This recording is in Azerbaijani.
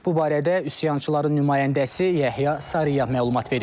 Bu barədə üsyançıların nümayəndəsi Yəhya Sariya məlumat verib.